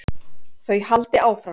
Þau haldi áfram.